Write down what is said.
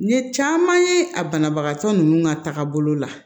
N ye caman ye a banabagatɔ ninnu ka tagabolo la